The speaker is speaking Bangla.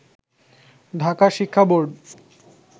ঢাকা শিক্ষা বোর্ড